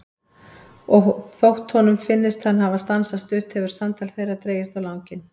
Og þótt honum finnist að hann hafi stansað stutt hefur samtal þeirra dregist á langinn.